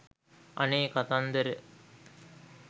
අනේ කතන්දර